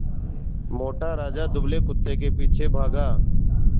मोटा राजा दुबले कुत्ते के पीछे भागा